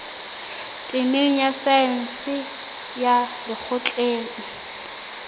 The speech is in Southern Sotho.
temeng ya saense ya lekgotleng